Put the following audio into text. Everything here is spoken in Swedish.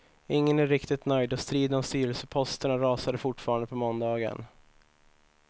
Ingen är riktigt nöjd och striden om styrelseposterna rasade fortfarande på måndagen.